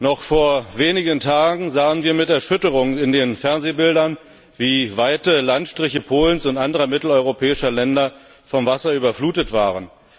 Noch vor wenigen Tagen sahen wir mit Erschütterung in den Fernsehbildern, wie weite Landstriche Polens und anderer mitteleuropäischer Länder vom Wasser überflutet waren.